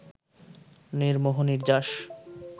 নির্মোহ নির্যাস